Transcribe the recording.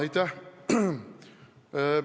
Aitäh!